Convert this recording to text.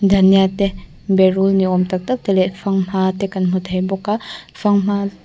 dhanya te berul ni awm tak tak te leh fanghma te kan hmu thei bawk a fanghma--